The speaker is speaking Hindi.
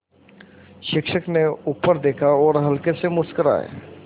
शिक्षक ने ऊपर देखा और हल्के से मुस्कराये